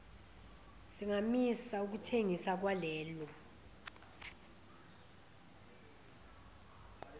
singamisa ukuthengiswa kwalelo